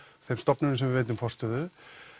þeim stofnunum sem við veitum forstöðu